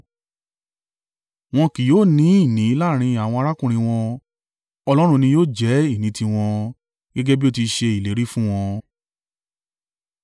Wọn kì yóò ní ìní láàrín àwọn arákùnrin wọn; Olúwa ni yóò jẹ́ ìní i tiwọn, gẹ́gẹ́ bí ó ti ṣe ìlérí fún wọn.